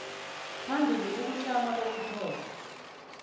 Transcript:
phambili ukutlama kokuthonywa